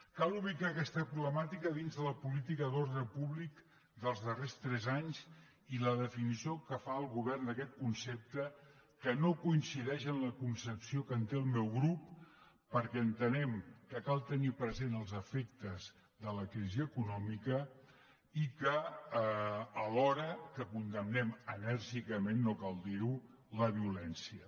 cal ubicar aquesta problemàtica dins de la política d’ordre públic dels darrers tres anys i la definició que fa el govern d’aquest concepte que no coincideix amb la concepció que en té el meu grup perquè entenem que cal tenir presents els efectes de la crisi econòmica alhora que condemnem enèrgicament no cal dirho la violència